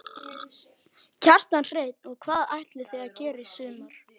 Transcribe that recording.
Kjartan Hreinn: Og hvað ætlið þið að gera í sumar?